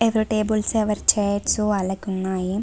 ఎవరి టేబల్స్ ఎవరి చైర్స్ వాళ్ళకి ఉన్నాయి.